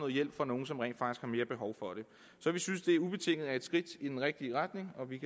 hjælp fra nogle som rent faktisk har mere behov for det så vi synes at det ubetinget er et skridt i den rigtige retning og vi